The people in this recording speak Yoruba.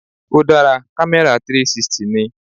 Ó dára, camera 360 ni.